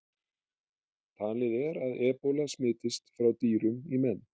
Talið er að ebóla smitist frá dýrum í menn.